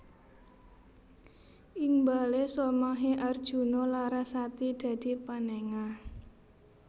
Ing bale somahe Arjuna Larasati dadi panengah